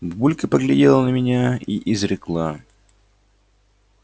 бабулька поглядела на меня и изрекла